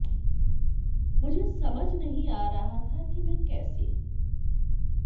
मुझे समझ नहीं आ रहा था कि मैं कैसे